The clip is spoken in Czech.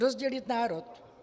Rozdělit národ.